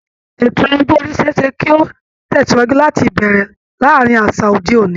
Ètò ọjọ́ orí ṣe é ṣe kí ó tẹ̀sìwájú láti bẹ̀rẹ̀ láàárín àṣà òde òní